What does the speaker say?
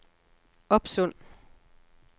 Opsund